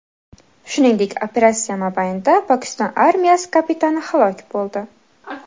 Shuningdek, operatsiya mobaynida Pokiston armiyasi kapitani halok bo‘ldi.